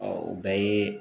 o bɛɛ ye